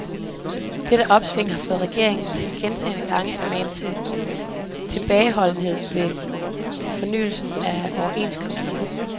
Dette opsving har fået regeringen til gentagne gange at mane til tilbageholdenhed ved fornyelsen af overenskomsterne.